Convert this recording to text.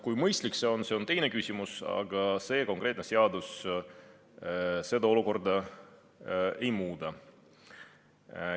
Kui mõistlik see on, on teine küsimus, aga see konkreetne seadus seda olukorda ei muuda.